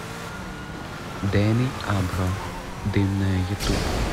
дэни абро дымная ютуб